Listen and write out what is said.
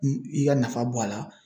I ka nafa bɔ a la